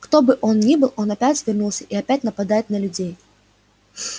кто бы он ни был он опять вернулся и опять нападает на людей